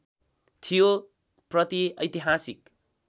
थियो प्रति ऐतिहासिक